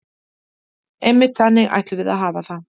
Einmitt, þannig ætlum við að hafa það.